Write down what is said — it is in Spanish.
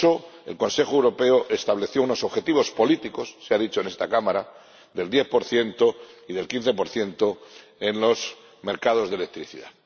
por eso el Consejo Europeo estableció unos objetivos políticos —se ha dicho en esta Cámara— del 10 y del 15 en los mercados de electricidad.